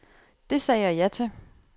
Det sagde jeg ja til.